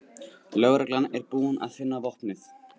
Lögreglan er búin að finna vopnið